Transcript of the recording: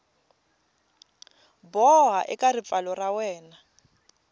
boha eka ripfalo ra wena